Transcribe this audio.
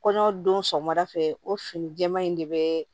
Kɔɲɔ don sɔgɔmada fɛ o fini jɛɛma in de bɛ